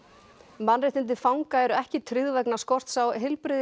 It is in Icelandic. mannréttindi fanga eru ekki tryggð vegna skorts á